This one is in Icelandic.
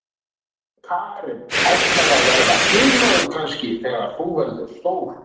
Karen: Ætlarðu að verða flugmaður kannski þegar þú verður stór?